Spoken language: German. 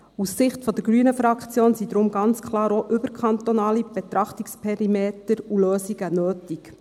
Aus Sicht der grünen Fraktion sind daher ganz klar auch überkantonale Betrachtungsperimeter und Lösungen nötig.